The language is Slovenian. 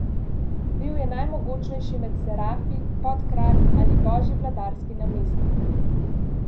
Bil je najmogočnejši med serafi, podkralj ali božji vladarski namestnik.